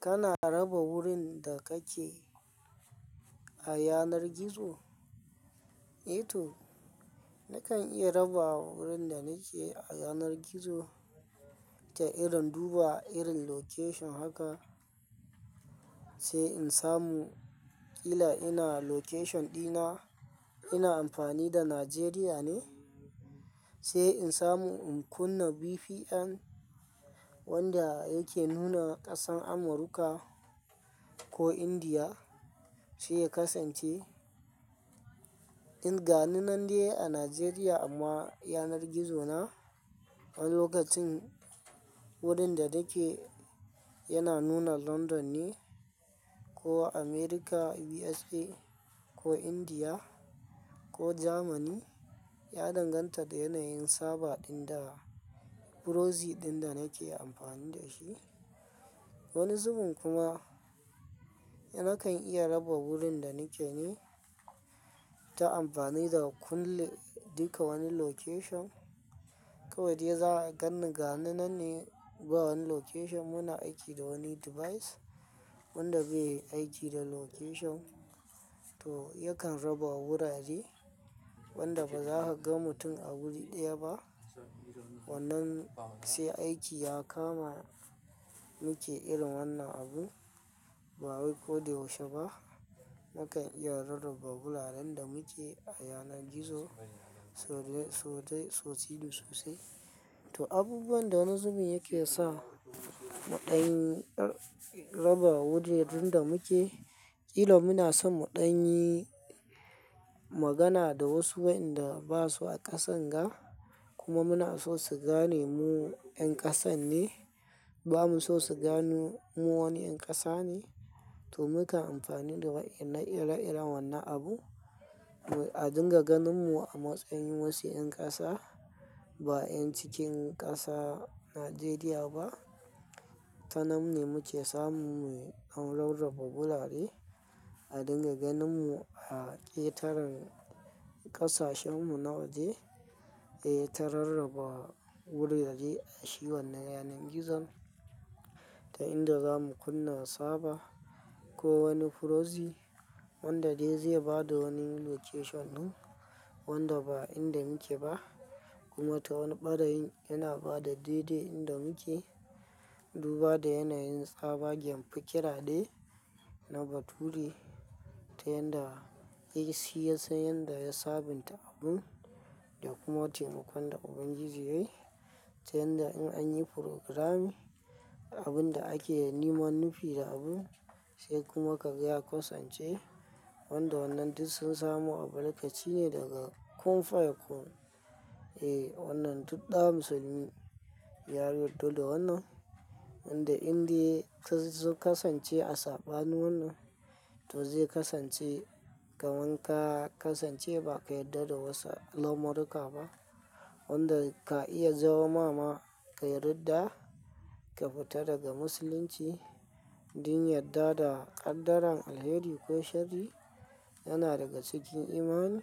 Kana raba wurin da kake a yanar gizo? Eh to, nakan iya raba wurin da nake a yanar gizo ta irin duba irin location haka, sai in samu kila ina location dina. Ina amfani da Nigeria ne, sai in samu in kunna VPN wanda yake nuna ƙasar Amurka ko Indiya, sai ya kasance in ganu nan dai a Nigeria amma yanar gizo na a lokacin wurin da nake yana nuna London ne ko Amerika USA ko Indiya ko germani, ya danganta da yanayin server ɗin da proxy ɗin da nake amfani da shi. Wani zubin kuma nakan iya raba wurin da nake ne ta amfani da kulun ɗika wani location. Kawai dai za a gan ni gani nan ne ba wani location. Yana aiki da wani device wanda bai aiki da location to yakan raba wurare wanda ba za ka ga mutum a wuri ɗaya ba. Wannan sai aiki ya kama muke irin wannan abu ba wai ko da yaushe ba. Nakan iya rarraba wuraren da muke a yanar gizo, sau de, sau de, sau tinin sosai. To, abubuwan da wani zubin yake sa muɗanyi raba wuraren da muke, kila muna son muɗanyi magana da wasu waenda ba su a ƙasan ga kuma muna so su gane mu 'yan ƙasa ne. Ba mu so su gane mu wani 'yan ƙasa ne to muka amfani da waenan iren iren wannan abu a dinga ganin mu a matsayin wasu 'yan ƙasa ba 'yan cikin ƙasa, Nigeria ba. Tanan m ne muke samu muyi an rarraba wurare a dinga ganin mu a ƙetaren ƙasashen mu na waje, eh ta rarraba wurare a shi wannan yanar gizon. Ta inda za mu kunna server ko wani proxy wanda dai zai ba da wani location wanda ba inda muke ba kuma ta wani ɓarain yana ba da dai-dai inda muke. Duba da yanayin server ke firkira dai na bature ta yanda yake siyan, sayan da ya sabunta abun da kuma taimakon da Ubangiji yayi ta yanda in an yi furogiramin abun da ake nema nufi da abun sai kuma kaga ya kasance wanda wannan duk sun samu albarkaci ne daga qun faya qun. Eh wannan duk ɗa musulmi ya yarda da wannan, inda inde sunzo kasance a sabanu wannan to zai kasance ka wanka kasance ba ka yarda da wasu lamuruka ba. Wanda ka iya zama ma ka yarda ka fita daga musulunci, yin yarda da ƙaddaran alheri ko shari yana daga cikin imani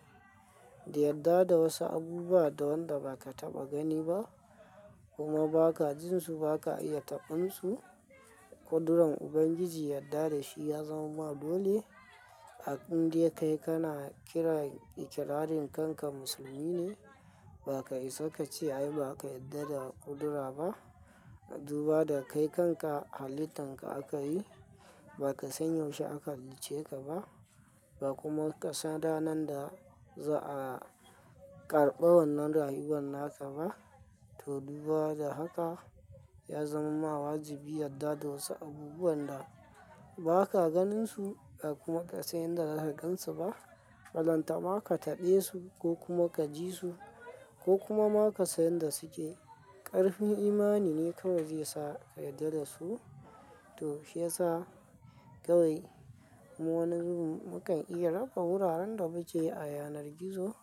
da yarda da wasu abubuwa da wanda ba ka taɓa gani ba kuma ba ka jin su, ba ka iya taɓin su. Kuduran Ubangiji yarda da shi ya zama ma dole. A inde kai kana kiran ikirarin kanka musulmi ne, ba ka isa ka ce ai ba ka yarda da ƙudura ba. Duba da kai kanka halittan ka aka yi, ba ka sanyo shi aka halicce ka ba, ba kuma ka san ranar da za'a karɓa wannan rayuwar naka ba. To duba da haka ya zama ma wajibi yarda da wasu abubuwan da ba ka ganin su a kuma ka san yadda zaka gansu ba. Falanta ba ka taɓe su ko kuma ka ji su ko kuma ma ka san yadda suke. Ƙarfin imani ne kawai zai sa ka yarda da su. To shi ya sa kawai mu wani zubin mu kan iya raba wuraren da muke a yanar gizo.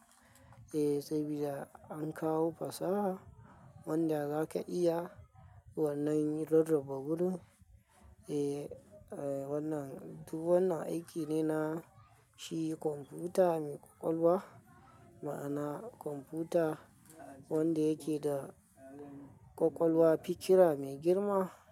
Eh sabida an kawo fasaha wanda zaka iya wannan yin rarraba gurin. Eh wannan duk wannan na aiki ne na shi kwamfuta mai ƙwaƙwalwa, ma'ana kwamfuta wanda yake da ƙwaƙwalwa, fikira mai girma.